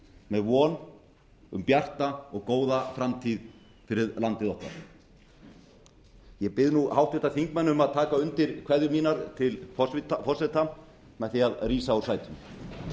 með von um bjarta og góða framtíð fyrir landið okkar ég bið nú háttvirtir þingmenn um að taka undir kveðjur mínar til forseta með því að rísa